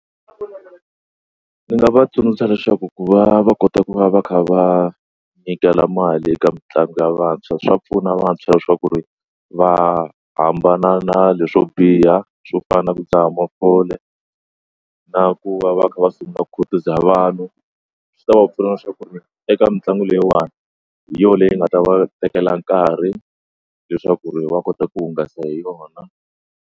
Ndzi nga va tsundzuxa leswaku ku va va kota ku va va kha va nyikela mali eka mitlangu ya vantshwa swa pfuna vantshwa leswaku ri va hambana na leswo biha swo fana na ku dzaha mafole na ku va va kha va sungula ku khutaza vanhu swi ta va pfuna leswaku ri eka mitlangu leyiwani hi yona leyi nga ta va tekela nkarhi leswaku ri va kota ku hungasa hi yona.